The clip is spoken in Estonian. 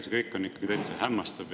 See kõik on ikkagi täitsa hämmastav.